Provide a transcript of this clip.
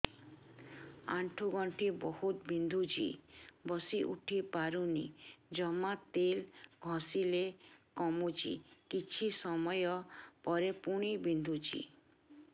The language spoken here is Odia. ଆଣ୍ଠୁଗଣ୍ଠି ବହୁତ ବିନ୍ଧୁଛି ବସିଉଠି ପାରୁନି ଜମା ତେଲ ଘଷିଲେ କମୁଛି କିଛି ସମୟ ପରେ ପୁଣି ବିନ୍ଧୁଛି